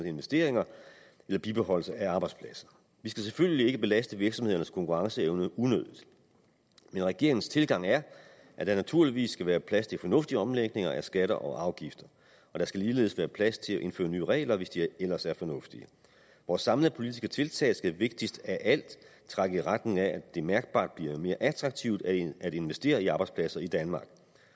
investeringer eller bibeholdelse af arbejdspladser vi skal selvfølgelig ikke belaste virksomhedernes konkurrenceevne unødigt men regeringens tilgang er at der naturligvis skal være plads til fornuftige omlægninger af skatter og afgifter og der skal ligeledes være plads til at indføre nye regler hvis de ellers er fornuftige vores samlede politiske tiltag skal vigtigst af alt trække i retning af at det mærkbart bliver mere attraktivt at at investere i arbejdspladser i danmark